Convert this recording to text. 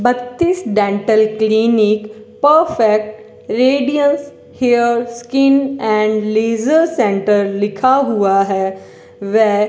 बत्तीस dental clinic perfect radiance hair skin and laser centre लिखा हुआ है वे --